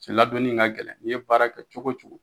Cɛ ladon in ka gɛlɛn n'i ye baara kɛ cogo cogo